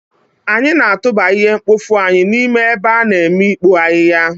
anyị na-atụba ihe mkpofu anyị n'ime ebe a n'ime ikpo ahihia